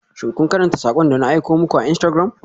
Shin kun karanta sakon da na aiko muku a Instagram?